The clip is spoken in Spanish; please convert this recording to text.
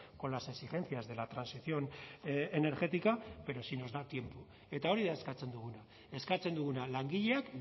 con las exigencias de la transición energética pero si nos da tiempo eta hori da eskatzen duguna eskatzen duguna langileak